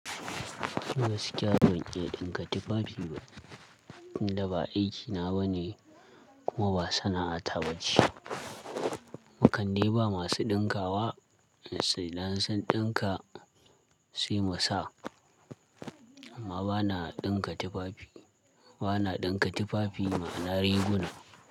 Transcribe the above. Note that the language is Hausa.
Gaskiya ban iya ɗinka tufafi ba. Da ba aikina ba ne, kuma ba sana'a ta ba ce. Mu kan dai ba masu ɗinkawa sai idan sun ɗinka, sai mu sa. Amma bana ɗinka tufafi, bana ɗinka tufafi ma'ana riguna.